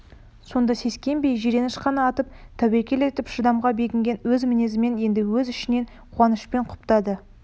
сонда сескенбей жиреніш қана атып тәуекел етіп шыдамға бекінген өз мінезін енді өз ішінен қуанышпен құптады